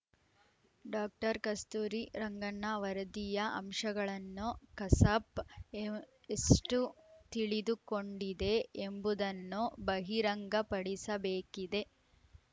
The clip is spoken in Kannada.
ಡಾಕ್ಟರ್ ಕಸ್ತೂರಿ ರಂಗಣ್ಣ ವರದಿಯ ಅಂಶಗಳನ್ನು ಕಸಾಪ್ ಎವ್ ಎಷ್ಟುತಿಳಿದುಕೊಂಡಿದೆ ಎಂಬುದನ್ನು ಬಹಿರಂಗಪಡಿಸಬೇಕಿದೆ